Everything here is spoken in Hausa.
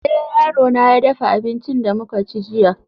eh, yarona ya dafa abincin da muka ci jiya